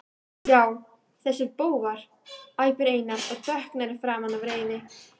Já, þessir bófar, æpir Einar og dökknar í framan af reiði.